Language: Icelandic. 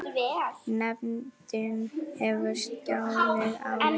Nefndin hefur skilað áliti.